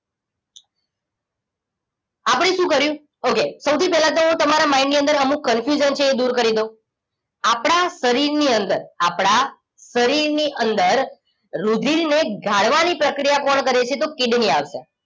આપણે શું કર્યું okay સૌથી પહેલા તો હું તમારા mind ની અંદર અમુક confusion છે એ દૂર કરી દઉં આપણા શરીરની અંદર આપણા શરીરની અંદર રુધિરને ગાળવાની પ્રક્રિયા કોણ કરે છે તો કિડની આવશે